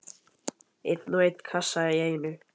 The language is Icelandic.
Einn og einn kassa í einu.